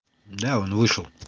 да он вышел